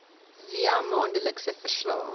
via maandelikse verslae